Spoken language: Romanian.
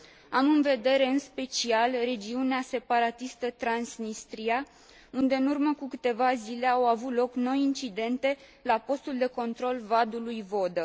Am în vedere în special regiunea separatistă Transnistria, unde în urmă cu câteva zile au avut loc noi incidente la postul de control Vadul lui Vodă.